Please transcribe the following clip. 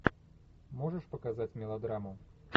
можешь показать мелодраму